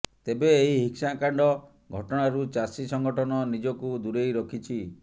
ତେବେ ଏହି ହିଂସାକାଣ୍ଡ ଘଟଣାରୁ ଚାଷୀ ସଂଗଠନ ନିଜକୁ ଦୂରେଇ ରଖିଛି